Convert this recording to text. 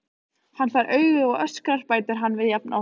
Hann fær augu og öskrar, bætir hann við jafn oft.